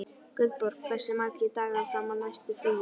Guðborg, hversu margir dagar fram að næsta fríi?